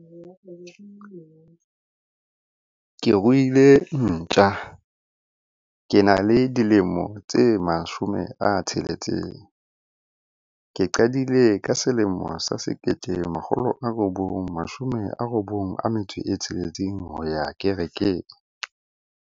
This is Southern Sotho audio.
Ke ruile ntja. Ke na le dilemo tse mashome a tsheletseng ke qadile. Ka selemo sa sekete makgolo a robong mashome a robong a metso e tsheletseng ho ya kerekeng.